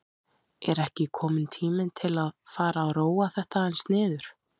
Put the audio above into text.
Er ekki kominn tími til að fara að róa þetta aðeins niður?